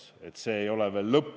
No vot, selle üle ongi vaieldud.